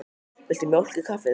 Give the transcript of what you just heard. Viltu mjólk í kaffið?